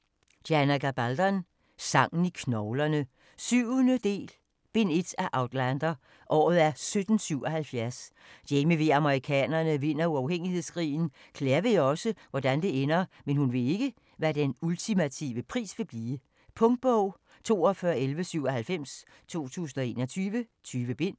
Gabaldon, Diana: Sangen i knoglerne 7. del, bind 1 af Outlander . Året er 1777. Jamie ved at amerikanerne vinder uafhængighedskrigen. Claire ved også, hvordan det ender, men hun ved ikke hvad den ultimative pris vil blive. Punktbog 421197 2021. 20 bind.